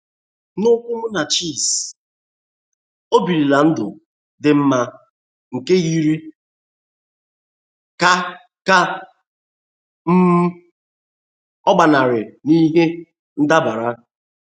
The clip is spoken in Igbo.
N'okwu Munachi’s, o birila ndụ dị mma, nke yiri ka ka um ọ gbanarị n'ihe ndabara.